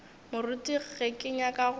moruti ge ke nyaka go